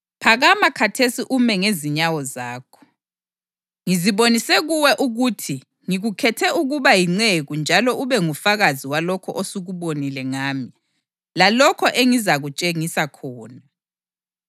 Phakama khathesi ume ngezinyawo zakho. Ngizibonise kuwe ukuthi ngikukhethe ukuba yinceku njalo ube ngufakazi walokho osukubonile ngami, lalokho engisazakutshengisa khona.